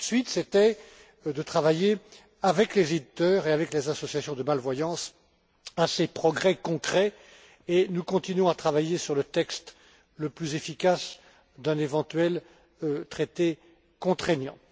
Tout de suite, c'était de travailler avec les éditeurs et avec les associations de malvoyance à ces progrès concrets et nous continuons à travailler sur le texte le plus efficace d'un éventuel traité contraignant.